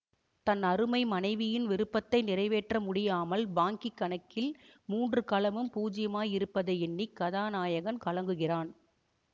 தன் அருமை மனைவியின் விருப்பத்தை நிறைவேற்ற முடியாமல் பாங்கிக் கணக்கில் மூன்று கலமும் பூஜ்யமாயிருப்பதை எண்ணி கதாநாயகன் கலங்குகிறான்